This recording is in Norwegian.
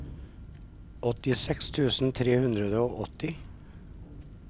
åttiseks tusen tre hundre og åtti